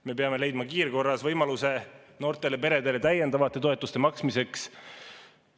Me peame leidma kiirkorras võimaluse noortele peredele täiendavate toetuste maksmiseks.